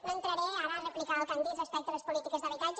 no entraré ara a replicar el que han dit respecte a les polítiques d’habitatge